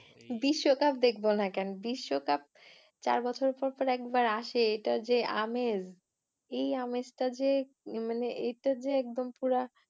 বিশ্বকাপ দেখব না কেন? বিশ্বকাপ চার বছর পর পর একবার আসে, এটা যে আমেজ, এই আমেজটা যে মানে এটা যে একদম পুরা